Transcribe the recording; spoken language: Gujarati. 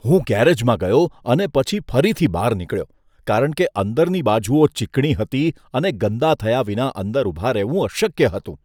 હું ગેરેજમાં ગયો અને પછી ફરીથી બહાર નીકળ્યો કારણ કે અંદરની બાજુઓ ચીકણી હતી અને ગંદા થયા વિના અંદર ઊભા રહેવું અશક્ય હતું.